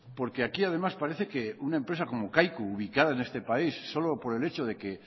porque aquí además parece que una empresa como kaiku ubicada en este país solo por el hecho de que